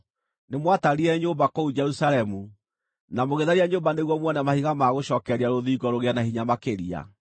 Nĩmwatarire nyũmba kũu Jerusalemu, na mũgĩtharia nyũmba nĩguo muone mahiga ma gũcookereria rũthingo rũgĩe na hinya makĩria.